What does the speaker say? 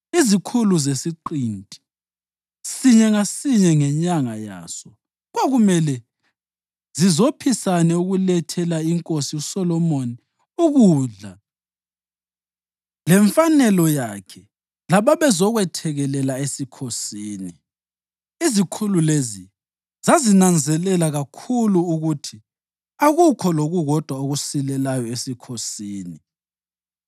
Izikhulu zesiqinti, sinye ngasinye ngenyanga yaso, kwakumele zizophisane ukulethela iNkosi uSolomoni ukudla lemfanelo yakhe lababezokwethekelela esikhosini. Izikhulu lezi zazinanzelela kakhulu ukuthi akukho lokukodwa okusilelayo esikhosini.